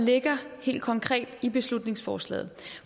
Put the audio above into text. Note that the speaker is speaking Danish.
ligger helt konkret i beslutningsforslaget